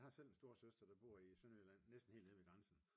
Jeg har selv en storesøster der bor i Sønderjylland næsten helt nede ved grænsen